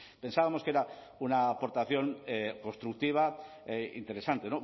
pensábamos que era una aportación constructiva interesante